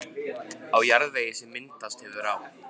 Í jarðvegi, sem myndast hefur á